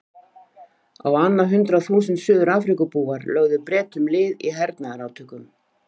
Á annað hundrað þúsund Suður-Afríkubúar lögðu Bretum lið í hernaðarátökum.